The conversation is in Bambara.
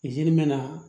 me na